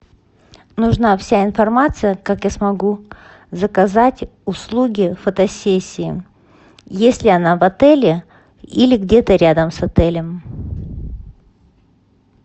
нужна вся информация как я смогу заказать услуги фотосессии есть ли она в отеле или где то рядом с отелем